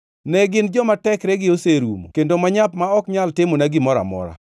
Ne gin joma tekregi oserumo kendo manyap ma ok nyal timona gimoro amora.